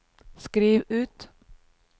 skriv ut